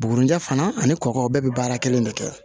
Bugurijɛ fana ani kɔkɔ bɛɛ bɛ baara kelen de kɛ